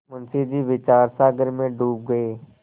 मुंशी जी विचारसागर में डूब गये